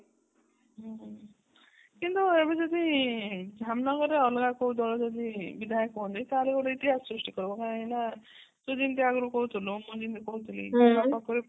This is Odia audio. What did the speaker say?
ହୁଁ କିନ୍ତୁ ଯଦି ଧାମନଗରରେ ଅଲଗା କଉ ଦଳ ଯଦି ବିଧାୟକ ହୁଅନ୍ତି ତାହା ଗୋଟେ ଇତିହାସ ସୃଷ୍ଟି କରିବ କାହିଁକି ନା ତୁ ଯେମିତି ଆଗରୁ କହୁଥିଲୁ ମୁଁ ଯେମିତି କହୁଥିଲି